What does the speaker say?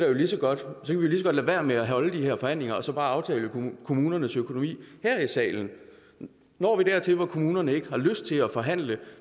jo lige så godt lade være med at holde de her forhandlinger og så bare aftale kommunernes økonomi her i salen når vi dertil hvor kommunerne ikke har lyst til at forhandle